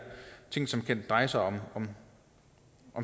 ting som drejer sig om